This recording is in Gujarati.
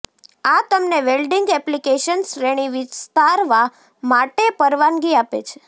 આ તમને વેલ્ડિંગ એપ્લિકેશન શ્રેણી વિસ્તારવા માટે પરવાનગી આપે છે